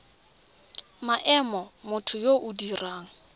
maemo motho yo o dirang